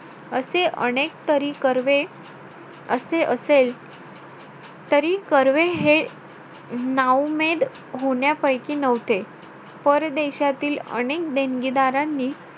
असे अनेक तरी कर्वे असे असेल, तरी कर्वे हे नाउमेद होण्यापैकी नव्हते. परदेशातील अनेक देणगीदारांनी,